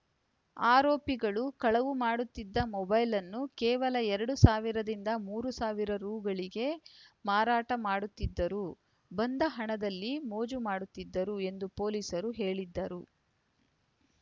ಆರೋಪಿಗಳು ಕಳವು ಮಾಡುತ್ತಿದ್ದ ಮೊಬೈಲ್‌ಳನ್ನು ಕೇವಲ ಎರಡು ಸಾವಿರದಿಂದ ಮೂರು ಸಾವಿರ ರುಗಳಿಗೆ ಮಾರಾಟ ಮಾಡುತ್ತಿದ್ದರು ಬಂದ ಹಣದಲ್ಲಿ ಮೋಜು ಮಾಡುತ್ತಿದ್ದರು ಎಂದು ಪೊಲೀಸರು ಹೇಳಿದ್ದರು